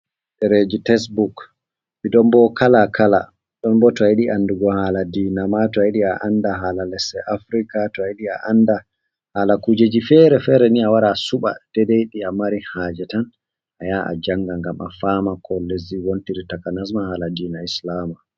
Ɗereji textbook ɗi bo kala kala, ɗon bo to ayiɗi a andugo hala dina ma, to ayiɗi a anda hala lesɗe afrika, to ayiɗi a anda hala kujeji fere fere ni awara asuɓa dai dai ɗi a mari haje, tan ayaha a njanga ngam a fama ko lesdi wontiri takanasma hala dina islama.